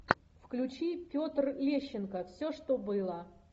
включи петр лещенко все что было